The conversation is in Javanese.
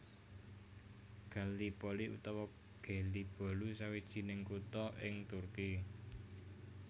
Gallipoli utawa Gelibolu sawijining kutha ing Turki